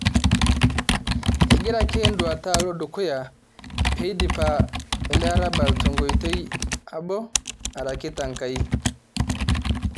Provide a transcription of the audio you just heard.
Egira ake enduata alo dukuya pee idipi ele arabal tenkoitoi abo araki tenkai